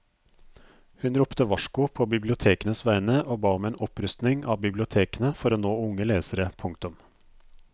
Hun ropte varsko på bibliotekenes vegne og ba om en opprustning av bibliotekene for å nå unge lesere. punktum